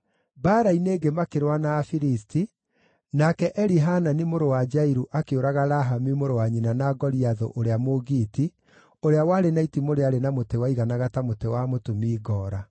Mbaara-inĩ ĩngĩ makĩrũa na Afilisti, nake Elihanani mũrũ wa Jairu akĩũraga Lahami mũrũ wa nyina na Goliathũ, ũrĩa Mũgiiti, ũrĩa warĩ na itimũ rĩarĩ na mũtĩ waiganaga ta mũtĩ wa mũtumi ngoora.